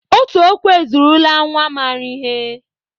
Otu okwu ezuorola nnwa maara ihe